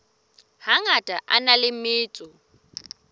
hangata a na le metso